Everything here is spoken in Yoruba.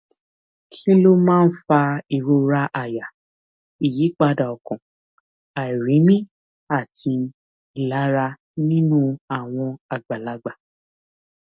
kí ló máa ń fa ìrora àyà ìyípadà ọkàn àìrími àti ìlara nínú àwọn àgbàlagbà